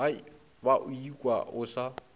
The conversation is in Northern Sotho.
ba o ikwa o sa